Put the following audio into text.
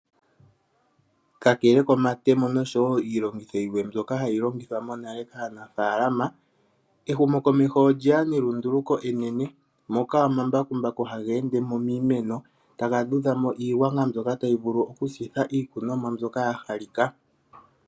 Kakele komatemo noshowo iilongitho yimwe mbyoka hayi longithwa monale kaanafaalama, ehumokomeho olyeya nelunduluko enene moka omambakumbaku haga endemo miimeno taga vudhamo iigwanga mbyoka tayi vulu oku sitha iikunomwa mbyoka ya halika.